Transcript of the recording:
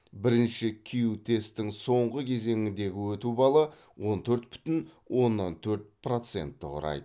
бірінші кю тесттің соңғы кезеңіндегі өту балы он төрт бүтін оннан төрт процентті құрайды